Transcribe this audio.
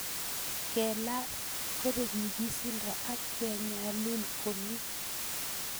Kelal ,kopek nyig'isindo ak kenyalul ko mii